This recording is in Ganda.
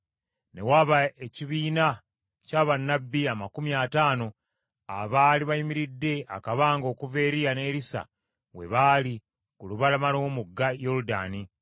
Ne waba ekibiina kya bannabbi amakumi ataano abaali bayimiridde akabanga okuva Eriya ne Erisa we baali ku lubalama lw’omugga Yoludaani.